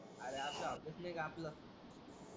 अरे आपलं ऑफिस नाही का आपलं.